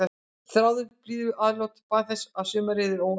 Þráði blíðuatlot og bað þess að sumarið yrði óendanlegt.